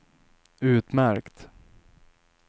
utmärkt